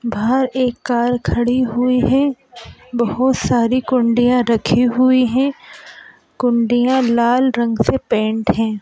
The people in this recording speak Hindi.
बाहर एक कार खड़ी हुई है बहुत सारी कुंडिया रखी हुई है कुंडिया लाल रंग से पेंट हैं।